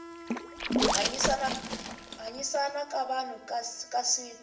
hanyisana ka vanhu ka siku